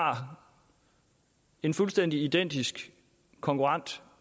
har en fuldstændig identisk konkurrent